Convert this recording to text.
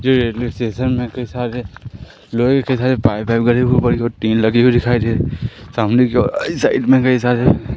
ये railway station में कई सारे लोहे के सारे पाइप टीन लगे हुई दिखाई दे रही सामने की ओर इस साइड मे कई सारे --